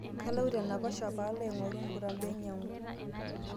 kaloito enaiposha paalo aingoru mbuta painyangu